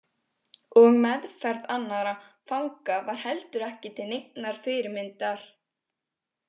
Og meðferð annarra fanga var heldur ekki til neinnar fyrirmyndar.